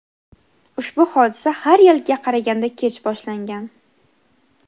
ushbu hodisa har yilgiga qaraganda kech boshlangan.